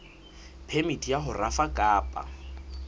phemiti ya ho rafa kapa